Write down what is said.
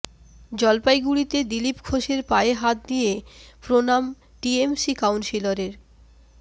জলপাইগুড়িতে দিলীপ ঘোষের পায়ে হাত দিয়ে প্রণাম টিএমসি কাউন্সিলরের